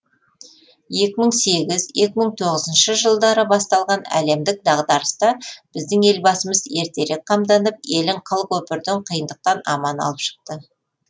екі мың сегіз екі мың тоғызыншы жылдары басталған әлемдік дағдарыста біздің елбасымыз ертерек қамданып елін қыл көпірден қиындықтан аман алып шықты